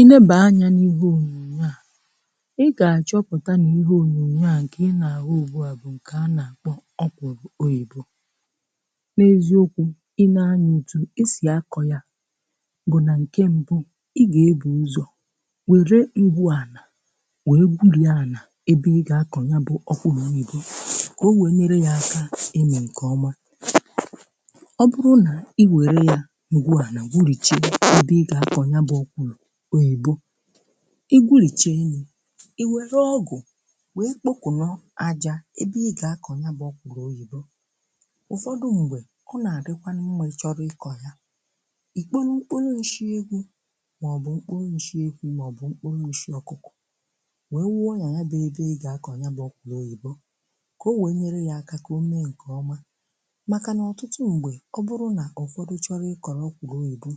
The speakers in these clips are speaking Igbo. I nēe anya n'ihe onyonyo a, ị ga-achọpụta na ihe onyonyo a nke ị na-ahụ ugbu a um bụ́ nke a na-akpọ ọkwụrụ oyibo. N'eziokwu, i lee anya, otú e si akọ ya bụ̀ na nke mbụ, ị ga-ebù ụzọ̀ wèere ngwu ànà wèe gwuọ ànà ebe ị ga-akọ̀nye bụ́ ọkwụrụ oyibo, ka o wèe nyere yà aka imi nke ọma. Ọ bụrụ nà i were ya ngwu ana gwuocha ebe ị ga-akọnye bụ́ ọkwụrụ oyibo, i gwuocha nye i were ọgụ wèe kpokọrọ aja ebe ị ga-akọnye bụ́ ọkwụrụ oyibo. Ụfọdụ mgbe ọ na-adịkwanụ mma um, I chọọ ịkọ ya, i kpọnụ mkpụrụ nshị ewu maọbụ mkpụrụ nshị ehi maọbụ mkpụrụ nshị ọkụkọ wèe wuọ n'anà ebe ị ga-akọnye bụ́ ọkwụrụ oyibo, ka o wèe nyere ya aka ka o mee nke ọma um. Maka n'ọtụtụ mgbe, ọ bụrụ na ụfọdụ chọrọ ịkọ ọkwụrụ oyibo,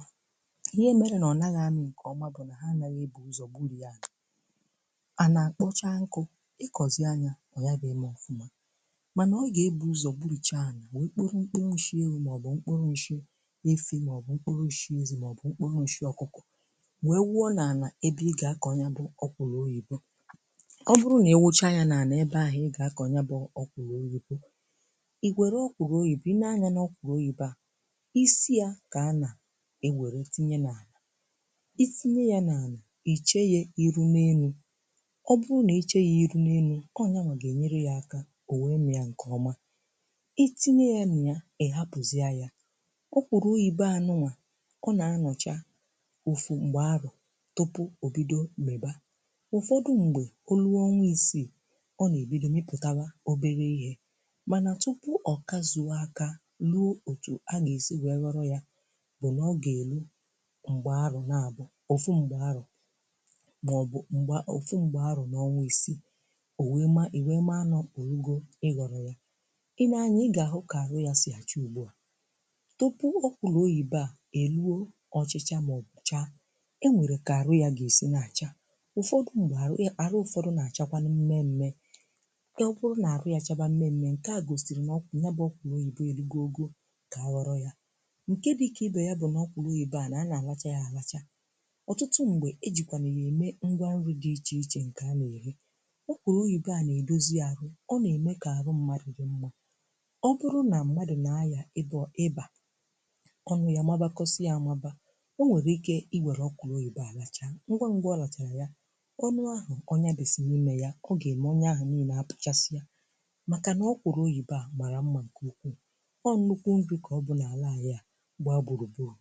ihe e mèere na ọ naghị amị nke ọma bụ na ha anaghị ebù ụzọ gwuọ ànà anà-akpọcha nkụ̀ ịkọzị ya. Ọ yàra eme ọfụma um, mànà ọ gà-ebù ụzọ̀ gwuọcha ànà wèe kpọkọrọ ṁkpuru nshị ewu màọbụ̀ ṁkpuru nshị ehi màọbụ̀ ṁkpuru nshị ezi màọbụ̀ ṁkpuru nshị ọkụkọ wèe wuọ n'anà ebe ị ga-akọ̀nye bụ́ ọkwụrụ oyibo. Ọ bụrụ na i wuocha ya n'anà ebe ahụ̀ ị ga-akọ̀nye bụ́ ọkwụrụ oyibo, i were ọkwụrụ oyibo ị nēe anyà n'ọkwụrụ oyibo a, isi ya kà a nà-ewère tinye n'alà. Itinye ya n'ànà, i chèe yà iru n'elu. Ọ bụrụ nà i chèe ya iru n'elu, ọ nyawa gà-ènyere ya aka o wee mia ǹkè ọma. Itinye ya na ya ị̀ hapụzịa yà. Ọkwụrụ oyibo a nụwa ọ na-anọchà ofu mgbe arọ̀ tupu o bido mịwa. Ụfọdụ mgbè, olu ọnwa isii ọ na-èbido mịpụtawa obere ihè. Mànà, tupu ọ kazuòo akà luò òtù a gà-èsi wèe ghọrọ yà, bụ́ na ọ ga-eru ofu mgbe arọ maọbụ mgbe arọ na ọnwa isii ò wèe ma i wèe mara na orugo ịghọrọ̀ ya. I lee anyà, I gà-àhụ kà àrụ ya sìa chaa ugbu a. Tupu ọkwụrụ oyibo a èruo ochịchà mà ọ̀bụ̀ chaa, e nwèrè kà àrụ ya gà-èsi na-àcha. Ụfọdụ mgbe àrụ ị àrụ ya nà-àchakwanu mmemme. Ọ bụrụ na àrụ yà chabà mmemme, ǹke a gòsìrì n'ọkpụ ya bụ ọkwụrụ oyibo erugo ogò kà a ghọọ yà ǹke dị ikè ibè ya. Bụ́ nà ọkwụrụ oyibo a à na-àlacha yà àlacha. Ọtụtụ mgbe, ejikwanụ ya eme ngwa nrị dị iche iche nke a na-eri. Ọkwụrụ oyibo a na-edozi arụ. Ọ na-eme ka arụ mmadụ dị mma. Ọ bụrụ na mmadụ na-aya ịdọ ịbà, ọnụ ya mabakọsịa amabà, o nwere ike i were ọkwụrụ oyibo a lacha ngwa ngwa. Ọ lachaa ya, ọnụ ahụ ọnya bisi n'ime ya, ọ ga-eme ọnya ahụ niile apụchasịa. Maka na ọkwụrụ oyibo a mara mmà nke ukwuu. Ọ nụkwụ nrị kà ọ bụ n'alà anyị a gba gburugburu.